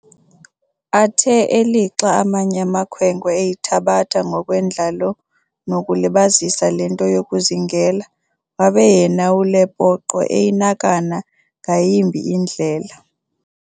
Athe eli lixa amanye amakhwenkwe eyithabatha ngokwendlalo nokuzilibazisa le nto yokuzingela, wabe yena uLepoqo eyinakana ngayimbi indlela.